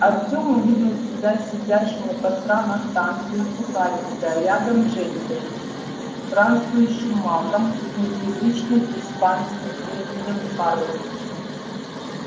артем увидел себя сидящим у костра на станции сухаревская рядом с женькой и странствующим магом с непривычным испанским именем карлос